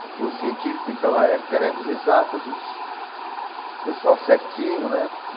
Porque o científico, então, na época, eram as de exatas, os o pessoal certinho, né?